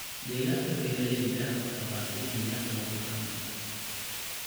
Deegaanka beeralayda waxaa baabi�inaya roob la�aanta.